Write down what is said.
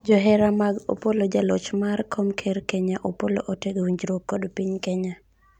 johera mag Opollo, jaloch mar kom ker Kenya Opollo otego winjruok kod piny Kenya